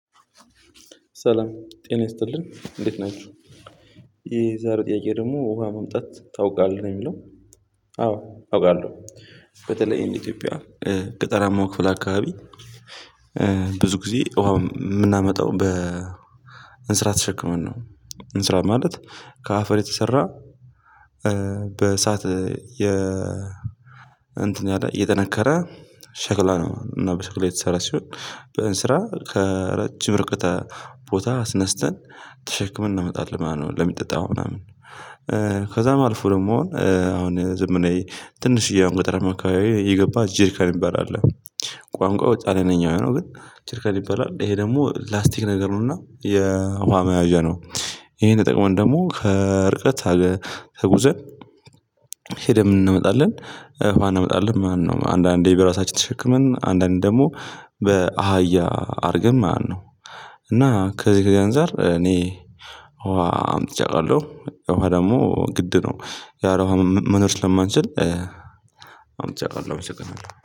ሰላም ጤና ይስጥልኝ እንዴት ናችሁ? የዛሬው ጥያቄ ደግሞ ውሃ መምጣት ታውቃለህ? ነው የሚለው አዎ አውቃለሁ በተለይ እንደ ኢትዮጵያ ገጠራማው ክፍል አካባቢ ብዙ ጊዜ ውሃ የምናመጣው በ እንስራ ተሸክመን ነው። እንስራ ማለት ከአፈር የተሰራ በእሳት የጠነከረ ሸክላ ነው። እና በሸክላ የተሰራ ሲሆን በእንስራ ከረጅም ርቀት ቦታ አስነስተን ተሸክመን እናመጣለን ማለት ነው። ለሚጠጣው ምናምን ከዛ አልፎ ደግሞ አሁን ዘመናዊ ትንሽዬ አሁን ገጠርማ አካባቢ የገባ ጄሪካን የሚባል አለ። ቋንቋው በጣሊያነኛ ነው ግን ነው ግን ጄሪካን ይባላል። ይሄ ደግሞ ላስቲክ ነገር ነውና የውሃ መያዣ ነው። ይሄን ተጠቅመን ደግሞ ከርቀት ተጉዘን ሄደን እናመጣለን። ውሃ እናመጣለን አንዳንዴ በራሳችን ተሸክመን አንዳንዴ ደግሞ በአህያ አድርገን ማለትነው። እና ከዚህ አንፃር እኔ ውሃ እምጥቼ እውቃለሁ። ውሃ ደግሞ ግድ ነው። ያለ ውሃ መኖር ስለማንችል አምጥቼ አውቃለሁ አመሰግናለሁ።